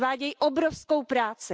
Odvádějí obrovskou práci.